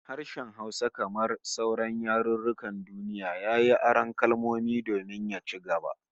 Harshen Hausa kamar sauran yarukan duniya, yayi aron kalmomi domin ya ci gaba